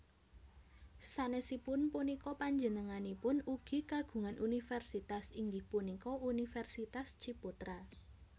Sanesipun punika panjenenganipun ugi kagungan universitas inggih punika Universitas Ciputra